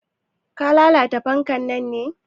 Ka lalata fanka na ne?